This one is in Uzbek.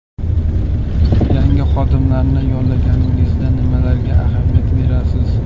Yangi xodimlarni yollaganingizda nimalarga ahamiyat berasiz?